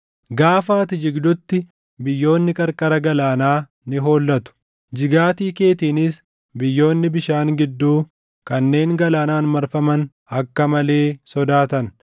Gaafa ati jigdutti, biyyoonni qarqara galaanaa ni hollatu; jigaatii keetiinis biyyoonni bishaan gidduu kanneen galaanaan marfaman akka malee sodaatan.’